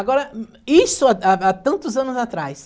Agora, isso há há há tantos anos atrás.